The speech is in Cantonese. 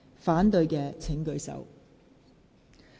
反對的請舉手。